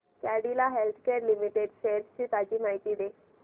Cadila healthcare limited shares ची ताजी माहिती दे